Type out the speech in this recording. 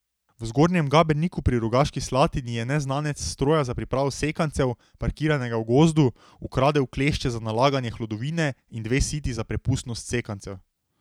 V Zgornjem Gaberniku pri Rogaški Slatini je neznanec s stroja za pripravo sekancev, parkiranega v gozdu, ukradel klešče za nalaganje hlodovine in dve siti za prepustnost sekancev.